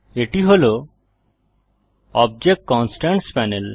এটি হল object constraints panel